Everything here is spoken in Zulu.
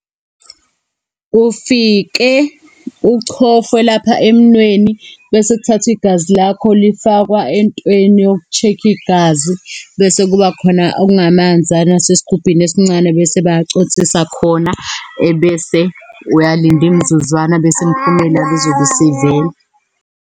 Kufike uchofwe lapha emunweni, bese kuthathwa igazi lakho lifakwa entweni yoku-check-a igazi, bese kuba khona okungamanzana asesigubhini esincane, bese bayaconsisa khona, ebese uyalinda imizuzwana, bese imiphumela izobe isivela.